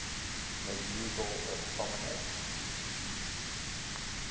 medieval astronomers